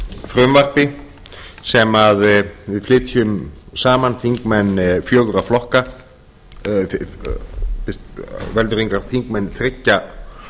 frumvarpi sem við flytjum saman þingmenn fjögurra flokka ég biðst velvirðingar þingmenn þriggja